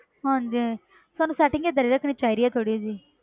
ਹਾਂਜੀ ਸਾਨੂੰ setting ਹੀ ਏਦਾਂ ਦੀ ਰੱਖਣੀ ਚਾਹੀਦੀ ਹੈ ਥੋੜ੍ਹੀ ਜਿਹੀ